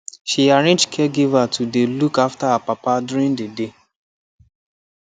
she arrange caregiver to dey look after her papa during the day